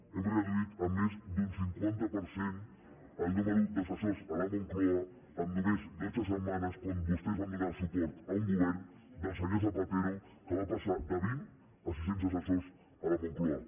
hem reduït en més del cinquanta per cent el nombre d’assessors a la moncloa en només dotze setmanes quan vostès van donar suport a un govern del senyor zapatero que va passar de vint a sis cents assessors a la moncloa